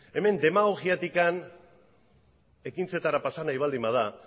hemen demagogiatik ekintzetara pasa nahi baldin bada